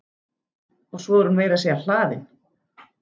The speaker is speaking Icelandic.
Og svo er hún meira að segja hlaðin.